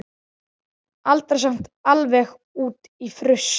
Aldrei samt alveg út í fruss.